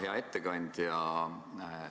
Hea ettekandja!